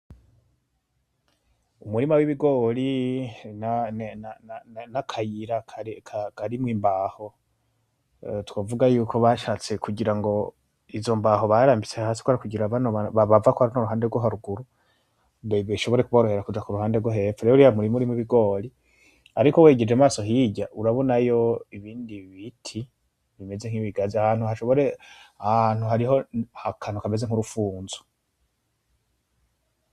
Umurima w'ibigori n'akayira karimwo imbaho. Twovuga yuko bashatse kugira ngo izo mbaho barambitse hasi kugira ngo abariko bava ku ruhande rwo haruguru bishobore kuborohera kuja ku ruhande rwo hepfo. Uriya murima urimwo ibigori. Ariko wegeje amaso hirya urabonayo ibindi biti bimeze n'ibigazi. Aha hantu hariho akantu kameze n'urufunzo.